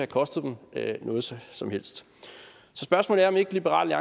kostet dem noget som som helst så spørgsmålet er om ikke liberal